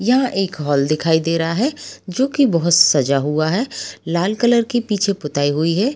यह एक हाल दिखाई दे रहा है जो की बहुत सजा हुआ है लाल कलर की पीछे पुताई हुई है ।